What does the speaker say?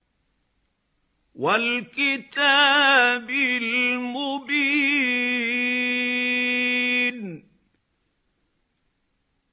وَالْكِتَابِ الْمُبِينِ